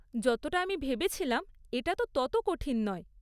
যতটা আমি ভেবেছিলাম এটা তো তত কঠিন নয় ।